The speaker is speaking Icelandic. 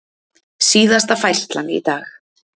Síðasta færslan í dag.